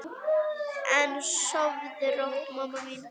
En sofðu rótt, mamma mín.